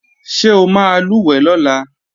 Ṣé o máa lùwẹ̀ lọ́la?